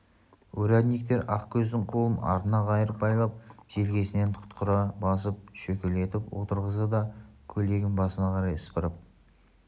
урядниктер ақкөздің қолын артына қайырып байлап желкесінен тұқырта басып шөкелетіп отырғызды да көйлегін басына қарай сыпырып